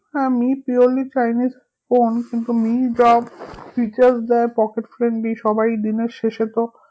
হ্যাঁ Mi purely chinese phone কিন্তু Mi যা features দেয় pocket friendly সবাই দিনের শেষে তো